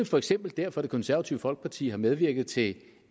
for eksempel derfor det konservative folkeparti har medvirket til